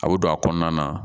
A y'o don a kɔnɔna na